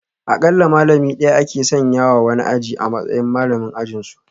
Akalla malami daya ake sanya wa wani aji a matsayin malamin ajinsu